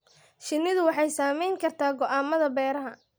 Shinnidu waxay saameyn kartaa go'aamada beeraha.